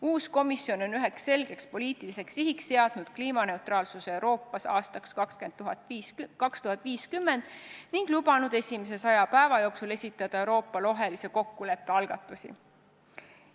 Uus komisjon on üheks selgeks poliitiliseks sihiks seadnud kliimaneutraalsuse Euroopas aastaks 2050 ning lubanud esimese saja päeva jooksul esitada Euroopa rohelise kokkuleppe algatusi.